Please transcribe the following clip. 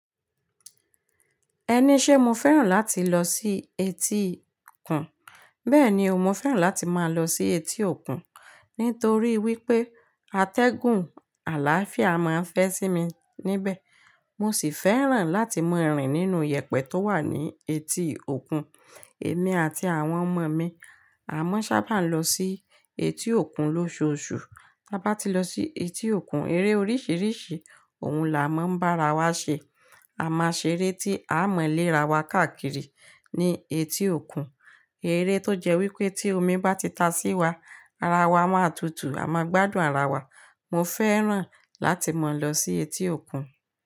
Ẹni ṣé mo fẹ́ràn láti lọ sí etí òkun? Bẹ́ẹ̀ni o, mo fẹ́ràn láti máa lọ sí etí òkun nítorí wípé atẹ́gùn àlàáfíà máa ń fẹ́ sí mi níbẹ̀. Mo sì fẹ́ràn láti mọ ìrìn nínú yèpẹ̀ tó wà ní etí òkun. Èmi àti àwọn ọmọ mi a máa sábà lọ sí etí òkun lóṣùọṣù. Bá ti lọ sí etí òkun, eré oríṣiríṣi òun là á máa ń bá ara wa ṣe. A máa ṣeré tí a mọ̀ lè ra wa káàkiri ní etí òkun. Eré tó jẹ́ wípé tí omi bá ti ta sí wa, ara wa máa tutù, a máa gbádùn ara wa. Mo fẹ́ràn láti máa lọ sí etí òkun.